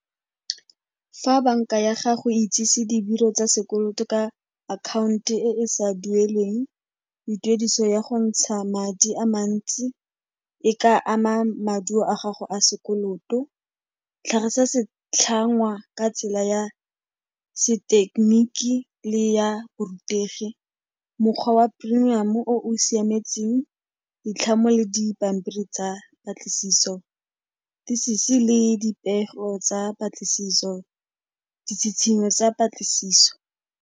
Fa banka ya gago e itsise tsa sekoloto ka account-o e e sa dueleng, le tuediso ya go ntsha madi a mantsi e ka ama maduo a gago a sekoloto. Tlhagisa setlhangwa ka tsela ya sethekeniki le ya borutegi. Mokgwa wa premium-o o o siametseng ditlhamo le dipampiri tsa patlisiso, le dipego tsa patlisiso, ditshitshinyo tsa patlisiso.